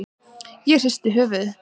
Ég hristi höfuðið.